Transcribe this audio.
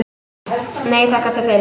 Nei, þakka þér fyrir.